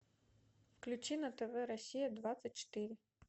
включи на тв россия двадцать четыре